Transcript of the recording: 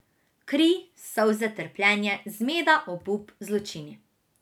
Kri, solze, trpljenje, zmeda, obup, zločini.